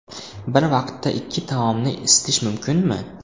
Bir vaqtda ikki taomni isitish mumkinmi?